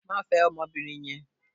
Má fẹ ọmọbìnrin yẹn.